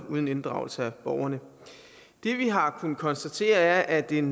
og uden inddragelse af borgerne det vi har kunnet konstatere er at en